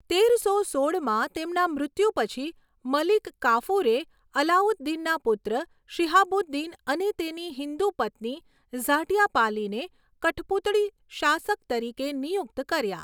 તેરસો સોળમાં તેમના મૃત્યુ પછી, મલિક કાફુરે અલાઉદ્દીનના પુત્ર શિહાબુદ્દીન અને તેની હિન્દુ પત્ની ઝાટ્યાપાલીને કઠપૂતળી શાસક તરીકે નિયુક્ત કર્યા.